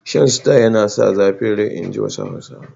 Shan Star yana sa zafin rai inji wasu Hausawan.